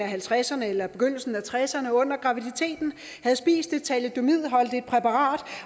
halvtredserne eller begyndelsen af nitten tresserne under graviditeten havde spist et thalidomidholdigt præparat